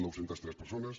nou cents i tres persones